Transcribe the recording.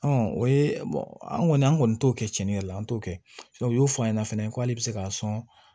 o ye an kɔni an kɔni t'o kɛ cɛnin yɛrɛ la an t'o kɛ u y'o fɔ a ɲɛna fɛnɛ ko hali bi se k'a sɔn